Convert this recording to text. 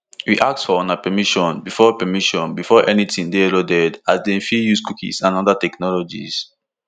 we ask for una permission before permission before anytin dey loaded as dem fit dey use cookies and oda technologies